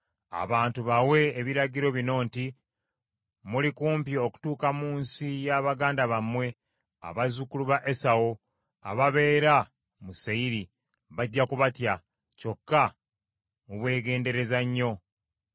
Abantu bawe ebiragiro bino nti, ‘Muli kumpi okutuuka mu nsi ya baganda bammwe, abazzukulu ba Esawu ababeera mu Seyiri, bajja kubatya, kyokka mubeegendereza nnyo.